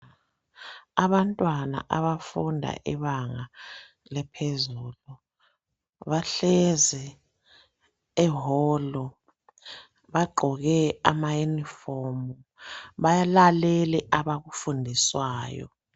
Abantwana abafunda ibanga laphezulu bahlezi eholu, bagqoke amayunifomu balalele abakufundiswayo.